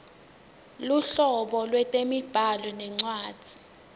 luhlobo lwetemibhalo nencwadzi